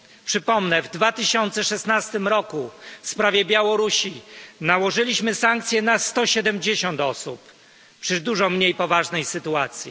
Przypomnę w 2016 roku w sprawie Białorusi nałożyliśmy sankcje na 170 osób w dużo mniej poważnej sytuacji.